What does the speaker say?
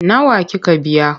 Nawa kika biya?